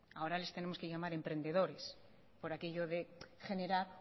ahora les tenemos que llamar emprendedores por aquello de generar